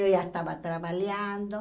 Eu já estava trabalhando.